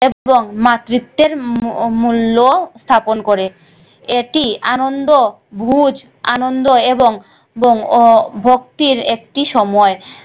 এবং মাতৃত্বের মূল্য স্থাপন করে। এটি আনন্দ ভুজ আনন্দ এবং আহ ভক্তির একটি সময়।